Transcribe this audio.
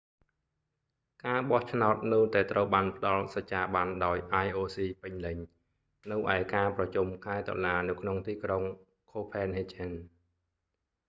ការបោះឆ្នោតនៅតែត្រូវបានផ្តល់សច្ចាប័នដោយ ioc ពេញលេញ នៅឯការប្រជុំខែតុលានៅក្នុងទីក្រុង copenhagen